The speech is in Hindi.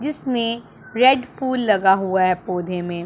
जिसमें रेड फुल लगा हुआ है पौधे में--